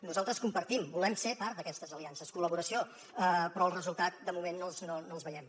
nosaltres compartim volem ser part d’aquestes aliances collaboració però els resultats de moment no els veiem